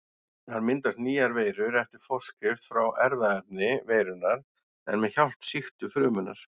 Þar myndast nýjar veirur eftir forskrift frá erfðaefni veirunnar en með hjálp sýktu frumunnar.